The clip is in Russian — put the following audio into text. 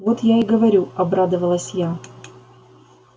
вот я и говорю обрадовалась я